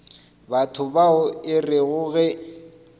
batho bao e rego ge